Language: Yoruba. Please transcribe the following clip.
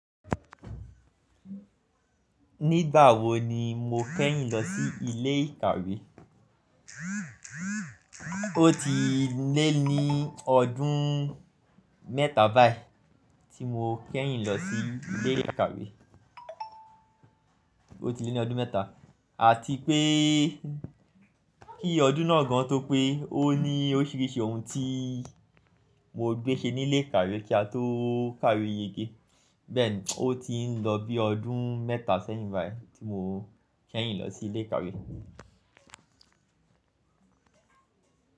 Nígbà wo ni mo kẹ́yìn lọ sí ilé ìkàwé? O ti lé ní ọdún mẹ́ta báyìí tí mo kẹ́yìn lọ sí ilé ìkàwé. O ti lé ní ọdún mẹ́ta, àti pé kí ọdún náà gan tó pé ó ní ó ṣeéṣe ohun tí mo gbé ṣe nílé ìkàwé kí a tó kàwé yège. Bẹ́ẹ̀ni, o ti ń lọ bí i ọdún mẹ́ta sẹ́yìn báyìí tí mo kẹ́yìn lọ sí ilé ìkàwé.